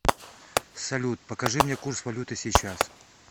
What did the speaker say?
салют покажи мне курс валюты сейчас